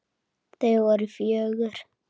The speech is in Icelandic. Þau voru fjögur.